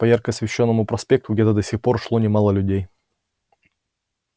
по ярко освещённому проспекту где до сих пор шло немало людей